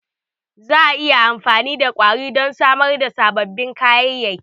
Za a yi amfani da ƙwari don samar da sababbin kayayyaki.